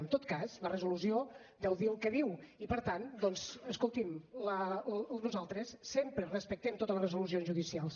en tot cas la resolució deu dir el que diu i per tant doncs escolti’m nosaltres sempre respectem totes les resolucions judicials